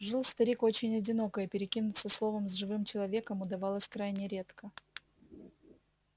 жил старик очень одиноко и перекинуться словом с живым человеком удавалось крайне редко